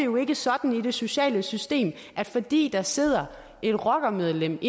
jo ikke sådan i det sociale system at fordi der sidder et rockermedlem